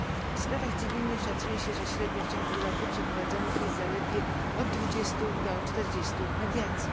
W sprawach cywilnych szacuje się, że średnio w ciągu roku przeprowadzonych jest zaledwie od 20 do 40 mediacji.